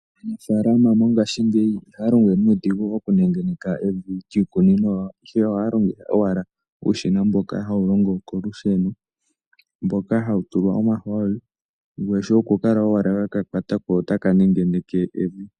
Aanafaalama mongashingeyi ihaa longo wee nuudhigu okunengeneka omavi giikunino yawo, ihe ohaa longitha owala uushina mboka hawu longo kolusheno mboka hawu tulwa omahooli. Ngoye shoye okukala owala weka kwata ko otaka nengeneke evi.